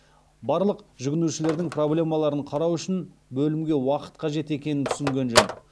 барлық жүгінушілердің проблемаларын қарау үшін бөлімге уақыт қажет екенн түсінген жөн